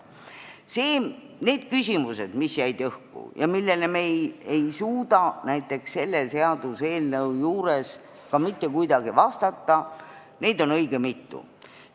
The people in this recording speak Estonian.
Neid küsimusi, mis jäid õhku ja millele me ei suuda selle seaduseelnõu juures mitte kuidagi vastata, on õige mitu.